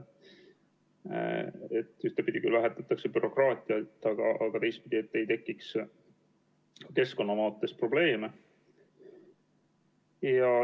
Ühtepidi küll vähendatakse bürokraatiat, aga teistpidi, et ei tekiks keskkonnaprobleeme.